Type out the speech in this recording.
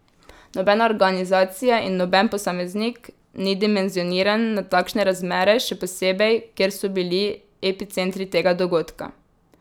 Nobena organizacija in noben posameznik ni dimenzioniran na takšne razmere, še posebej, kjer so bili epicentri tega dogodka.